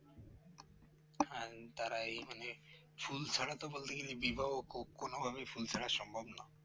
হ্যাঁ তারা এই মানে ফুল ছাড়া তো বলতে গেলে বিবাহ কো কোনভাবেই ফুল ছাড়া সম্ভব নয়